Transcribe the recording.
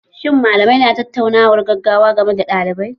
Shin malamai na tattaunawar gaggawa game da ɗaliban?